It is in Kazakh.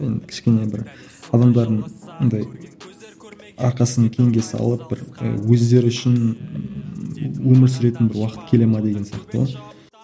енді кішкене бір адамдардың андай арқасын кеңге салып бір і өздері үшін ііі өмір сүретін бір уақыт келе ме деген сияқты ғой